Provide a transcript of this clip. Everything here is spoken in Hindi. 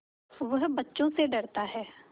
वह बच्चों से डरता है